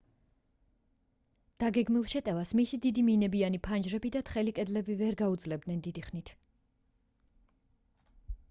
დაგეგმილ შეტევას მისი დიდი მინებიანი ფანჯრები და თხელი კედლები ვერ გაუძლებდნენ დიდი ხნით